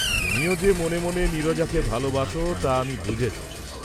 তুমিও যে মনে মনে নীরজাকে ভালবাস তা আমি বুঝেছি।